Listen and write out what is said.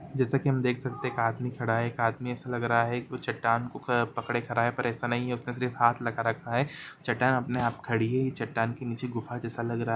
जैसा की हम देख सकते हैं कि एक आदमी खड़ा है एक आदमी ऐसा लग रहा है कि वह चट्टान को पकड़े खड़ा है पर ऐसा नहीं है उसने सिर्फ हाथ लगा रखा है चट्टान अपने आप खड़ी है चट्टान के निचे गुफा जैसा लग रहा--